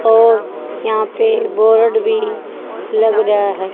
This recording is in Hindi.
और यहां पे बोर्ड भी लग रहा है।